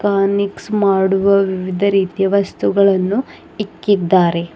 ಅನಿಕ್ಸ್ ಮಾಡುವ ವಿವಿಧ ರೀತಿ ವಸ್ತುಗಳನ್ನು ಇಕ್ಕಿದ್ದಾರೆ.